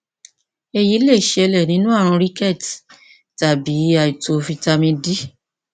èyí lè ṣẹlẹ nínú ààrùn rickets tàbí àìtó fítámì d